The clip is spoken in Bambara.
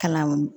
Kalan